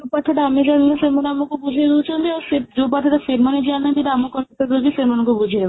ପାଠଟା ଆମେ ଜାଣିଲୁ ସେମାନେ ଆମକୁ ବୁଝେଇ ଦଉଛନ୍ତି ଆଉ ସେ ଯୋଉ ପାଠଟା ସେମାନେ ଜାଣି ନାହାନ୍ତି ଆମ କର୍ତ୍ତବ୍ୟ ଯେ ସେମାନଙ୍କୁ ବୁଝେଇବା